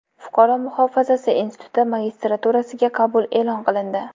Fuqaro muhofazasi instituti magistraturasiga qabul e’lon qilindi.